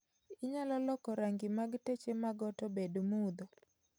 Inyalo loko rangi mag teche mag ot obed mudho